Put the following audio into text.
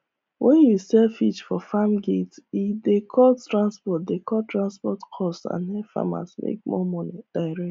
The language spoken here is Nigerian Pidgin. when you sell fish for farm gate e dey cut transport dey cut transport cost and help farmer make more money direct